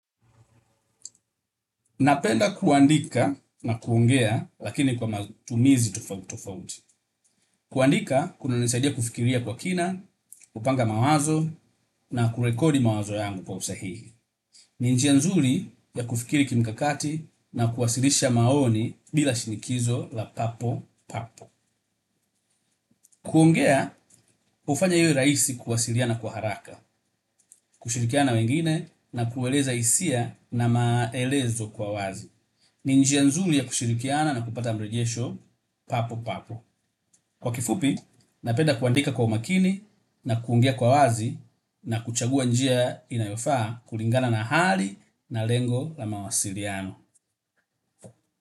Napenda kuandika na kuongea lakini kwa matumizi tofauti tofauti. Kuandika kuna nisaidia kufikiria kwa kina, kupanga mawazo na kurekodi mawazo yangu kwa usahihi. Ni njia nzuri ya kufikiri kimkakati na kuwasilisha maoni bila shinikizo la papo papo. Kuongea hufanya iwe rahisi kuwasiliana kwa haraka, kushirikiana na wengine na kueleza hisia na maelezo kwa wazi. Ni njia nzuri ya kushirikiana na kupata mrejesho papo papo. Kwa kifupi, napenda kuandika kwa umakini na kuingia kwa wazi na kuchagua njia inayofaa kulingana na hali na lengo la mawasiliano.